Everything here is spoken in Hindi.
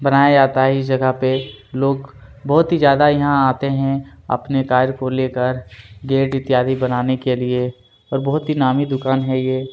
बनाया जाता है इस जगह पे लोग बहुत ही ज्यादा यहाँ आते हैं अपने कार को लेकर गेट इत्यादि बनाने के लिए और बहुत ही नामी दुकान है ये --